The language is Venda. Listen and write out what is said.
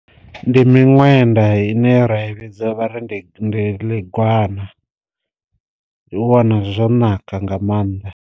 Ndi miṅwenda ine ra i vhidza vha ri ndi ndi ḽi gwana, ndi u wana zwo naka nga maanḓa.